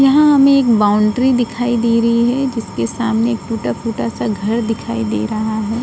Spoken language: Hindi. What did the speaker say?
यहाँ हमें एक बाउंड्री दिखाई दे रही है जिसके सामने एक टूटा -फूटा -सा घर दिखाई दे रहा हैं।